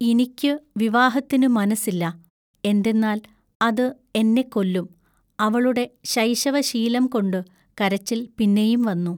ഇനിക്കു വിവാഹത്തിനു മനസ്സില്ല. എന്തെന്നാൽ അതു എന്നെക്കൊല്ലും" അവളുടെ ശൈശവശീലംകൊണ്ടു കരച്ചിൽ പിന്നെയും വന്നു.